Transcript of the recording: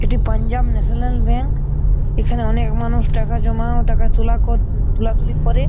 এটি Punjab National Bank. এখানে অনেক মানুষ টাকা জমা ও টাকা তোলা ক তোলাতুলি করে।